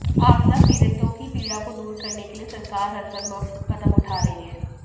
आपदा पीडि़तों की पीड़ा को दूर करने के लिए सरकार हरसंभव कदम उठा रही है